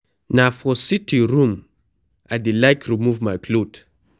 Na for sitting room I dey like remove my cloth.